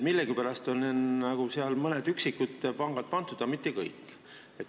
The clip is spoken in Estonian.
Millegipärast on sinna mõned üksikud pangad pandud, aga mitte kõiki.